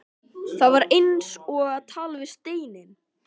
En það var eins og að tala við steininn.